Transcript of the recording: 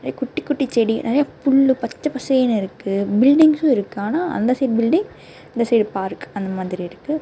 நெறையா குட்டி குட்டி செடி நெறையா புல்லு பச்ச பசேனு இருக்கு பில்டிங்ஸ்ஸு இருக்கு ஆனா அந்த சைடு பில்டிங் இந்த சைடு பார்க் அந்த மாதிரி இருக்கு.